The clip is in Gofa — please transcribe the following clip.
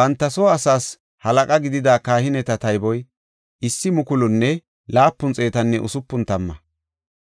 Banta soo asaas halaqa gidida kahineta tayboy 1,760.